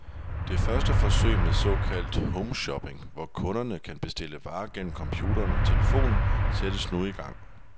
Det første forsøg med såkaldt homeshopping, hvor kunderne kan bestille varer gennem computeren og telefonen, sættes nu i gang.